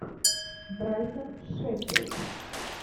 брайтон шеффилд